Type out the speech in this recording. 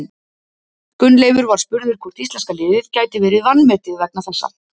Gunnleifur var spurður hvort íslenska liðið gæti verið vanmetið vegna þessa.